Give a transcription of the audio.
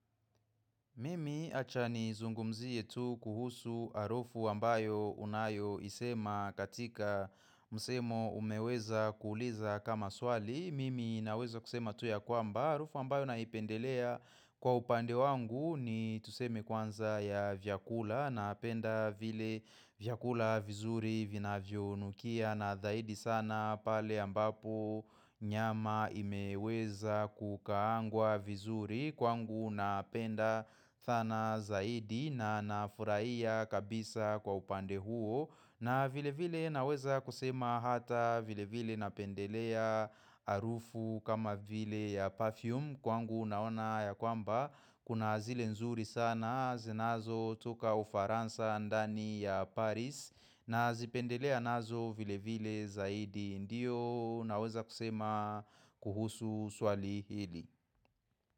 Mimi acha nizungumzie tu kuhusu harufu ambayo unayoisema katika msemo umeweza kuuliza kama swali. Mimi naweza kusema tu ya kwamba. Harufu ambayo naipendelea kwa upande wangu ni tuseme kwanza ya vyakula napenda vile vyakula vizuri vinavyonukia. Na zaidi sana pale ambapo nyama imeweza kukaangwa vizuri kwangu napenda dhana zaidi na nafurahia kabisa kwa upande huo na vile vile naweza kusema hata vile vile napendelea harufu kama vile ya perfume kwangu unaona ya kwamba kuna zile nzuri sana zinazo toka ufaransa ndani ya Paris. Nazipendelea nazo vile vile zaidi ndiyo naweza kusema kuhusu swali hili.